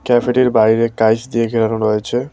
ক্যাফেটির বাইরে কাঁইচ দিয়ে ঘেরানো রয়েছে।